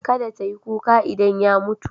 Kada ta yi kuka idan ya mutu.